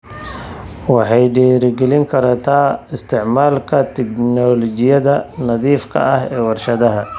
Waxay dhiirigelin kartaa isticmaalka tignoolajiyada nadiifka ah ee warshadaha.